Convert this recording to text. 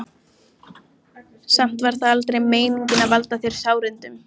Samt var það aldrei meiningin að valda þér sárindum.